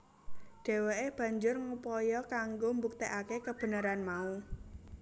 Dheweke banjur ngupaya kanggo mbuktekake kebenaran mau